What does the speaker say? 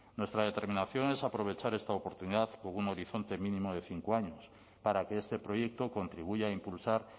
nuestra determinación es aprovechar esta oportunidad con un horizonte mínimo de cinco años para que este proyecto contribuya a impulsar